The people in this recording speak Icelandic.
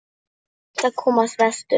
Reynt að komast vestur